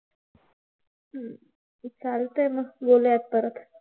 चालतय मग बोलूयात परत.